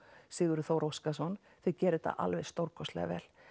Sigurður Þór Óskarsson þau gera þetta alveg stórkostlega vel